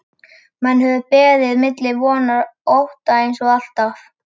Menn höfðu beðið milli vonar og ótta eins og alltaf.